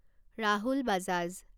Rahul Bajaj